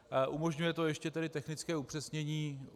Umožňuje to tedy ještě technické upřesnění.